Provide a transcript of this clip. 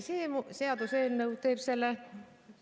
See seaduseelnõu teeb selle veel ...